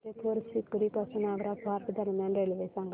फतेहपुर सीकरी पासून आग्रा फोर्ट दरम्यान रेल्वे सांगा